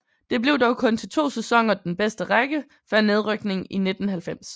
Det blev dog kun til 2 sæsoner den bedste række før nedrykning i 1990